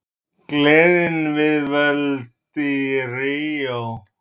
Gleðin við völd í Ríó